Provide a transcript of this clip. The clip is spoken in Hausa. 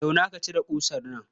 Zauna ka cire ƙusar nan.